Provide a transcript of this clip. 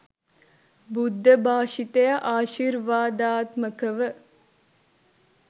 බුද්ධභාෂිතය ආශිර්වාදාත්මකව